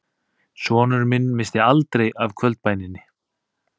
Sonur minn missti aldrei af kvöldbæninni